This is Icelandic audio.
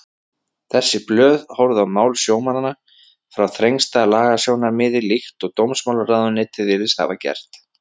Þessi blöð horfðu á mál sjómannanna frá þrengsta lagasjónarmiði líkt og dómsmálaráðuneytið virðist hafa gert.